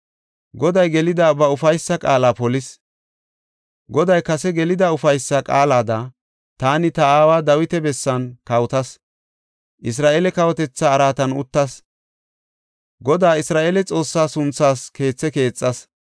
“Goday gelida ba ufaysa qaala polis. Goday kase gelida ufaysa qaalada taani ta aawa Dawita bessan kawotas; Isra7eele kawotetha araatan uttas. Godaa Isra7eele Xoossaa sunthaas keethe keexas.